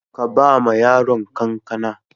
Ka ba ma yaron kankana